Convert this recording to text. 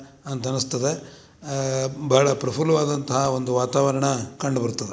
ಅಂತ ಅನಿಸುತ್ತದೆ ಆಹ್ ಬಹಳ ಪ್ರಫುಲವಾದಂತ ಒಂದು ವಾತಾವರಣ ಕಂಡುಬರುತ್ತದೆ.